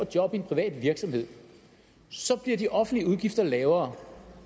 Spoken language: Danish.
job i en privat virksomhed så bliver de offentlige udgifter lavere